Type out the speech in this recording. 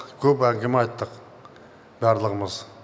көп әңгіме айттық барлығымыз